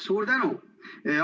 Suur tänu!